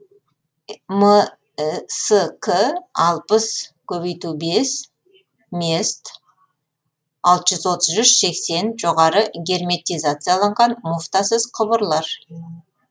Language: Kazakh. мск алпыс көбейту бес мест алты жүз отыз үш сексен жоғары герметизацияланған муфтасыз құбырлар